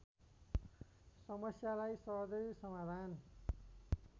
समस्यालाई सहजै समाधान